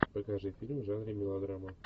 покажи фильм в жанре мелодрама